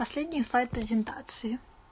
последний слайд презентации